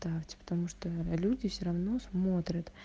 так типа потому что люди все равно смотрят